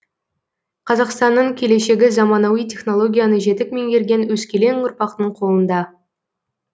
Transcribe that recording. қазақстанның келешегі заманауи технологияны жетік меңгерген өскелең ұрпақтың қолында